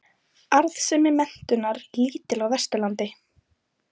Arðsemi menntunar lítil á Vesturlandi